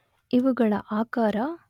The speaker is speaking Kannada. ಇವುಗಳ ಆಕಾರ